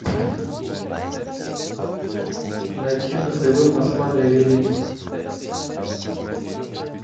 найти на тв москва доверие